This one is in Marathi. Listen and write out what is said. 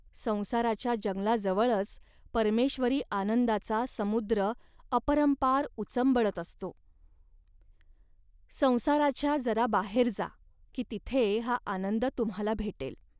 संसाराच्या जंगलाजवळच परमेश्वरी आनंदाचा समुद्र अपरंपार उचंबळत असतो. संसाराच्या जरा बाहेर जा, की तिथे हा आनंद तुम्हांला भेटेल